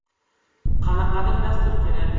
Qanaqadir dastur kerak.